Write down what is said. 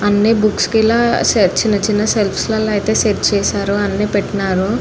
అన్ని బుక్స్ కి ఇలా చిన్న చిన్న సెల్స్ అయితే సెట్ చేసారు అన్ని పెట్టినారు.